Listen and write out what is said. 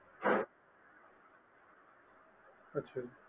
ਅੱਛਾ ਜੀ